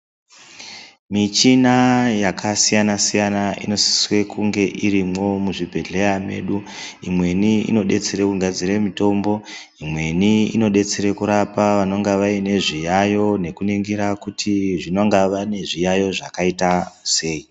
Michina yakasiyana-siyana inosisire kunge irimwo muzvibhehleya mwedu. Imweni inodetsera kugadzire mitombo, imweni inodetsere kurapa vanenge vaine zviyaiyo, nekuningire kuti vanenge vane zviyaiyo zvakaita sei.